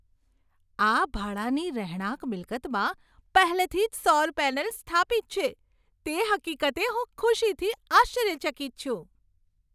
આ ભાડાની રહેણાંક મિલકતમાં પહેલેથી જ સૌર પેનલ્સ સ્થાપિત છે, તે હકીકતે હું ખુશીથી આશ્ચર્યચકિત છું.